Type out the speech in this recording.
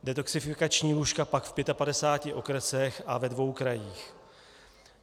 Detoxifikační lůžka pak v 55 okresech a ve dvou krajích.